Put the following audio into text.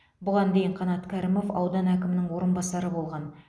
бұған дейін қанат кәрімов аудан әкімінің орынбасары болған